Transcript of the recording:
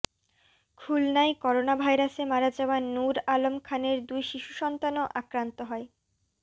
খুলনায় করোনাভাইরাসে মারা যাওয়া নূর আলম খানের দুই শিশু সন্তানও আক্রান্ত হয়